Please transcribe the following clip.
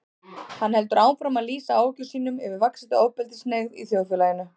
Hann heldur áfram að lýsa áhyggjum sínum yfir vaxandi ofbeldishneigð í þjóðfélaginu.